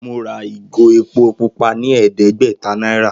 Mo ra ìgò epo pupa ní è̩é̩dé̩gbè̩ta náírà